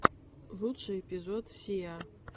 лучший эпизод сиа